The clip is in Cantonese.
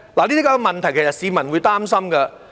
這些問題，其實市民是會擔心的。